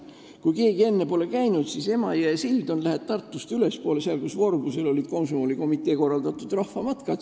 Kui keegi pole kohapeal käinud, siis annan teada, et Emajõe sild on, kui lähed Tartust ülespoole, seal, kus Vorbusel olid komsomolikomitee korraldatud rahvamatkad.